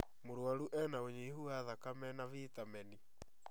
Mũrwaru ena ũnyihu wa thakame na vitameni